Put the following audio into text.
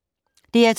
DR2